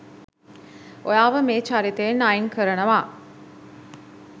ඔයාව මේ චරිතයෙන් අයින් කරනවා